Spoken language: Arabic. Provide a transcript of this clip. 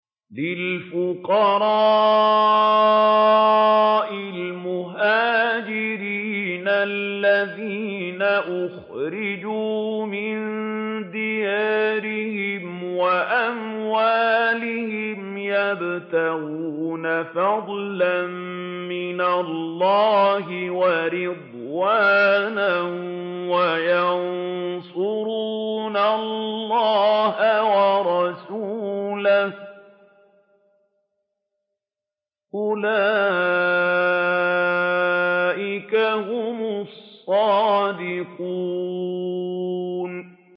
لِلْفُقَرَاءِ الْمُهَاجِرِينَ الَّذِينَ أُخْرِجُوا مِن دِيَارِهِمْ وَأَمْوَالِهِمْ يَبْتَغُونَ فَضْلًا مِّنَ اللَّهِ وَرِضْوَانًا وَيَنصُرُونَ اللَّهَ وَرَسُولَهُ ۚ أُولَٰئِكَ هُمُ الصَّادِقُونَ